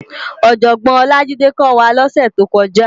Òjògbòn Olajide kò wá lòsè tókòjá